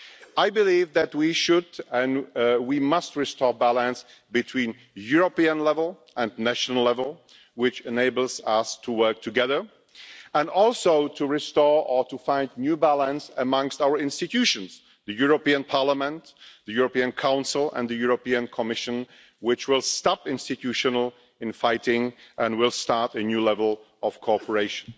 I believe that we should and we must restore the balance between the European level and the national level which enables us to work together, and also restore or find a new balance amongst our institutions the European Parliament, the European Council and the European Commission which will stop institutional infighting and will start a new level of cooperation.